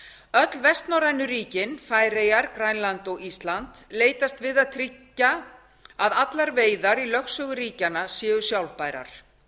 öll vestnorrænu ríkin færeyjar grænland og ísland leitast við að tryggja að allar veiðar í lögsögu ríkjanna séu sjálfbærar